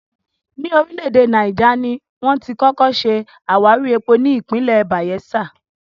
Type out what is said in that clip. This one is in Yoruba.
Ní orílẹ̀ èdè Náíjà, ni wón ti kọ́kọ́ ṣe àwárí epo ní ìpínlẹ̀ Bàyẹ́sà